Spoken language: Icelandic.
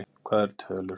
Hvað eru tölur?